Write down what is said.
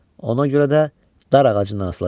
Ona görə də dar ağacından asılacaq.